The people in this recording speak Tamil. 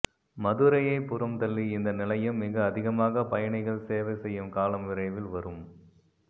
மதுரையை புறம்தள்ளி இந்த நிலையம் மிக அதிகமாக பயணிகள் சேவை செய்யும் காலம் விரைவில் வரும்